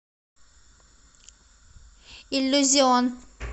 иллюзион